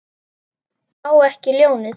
Á ekki ljónið.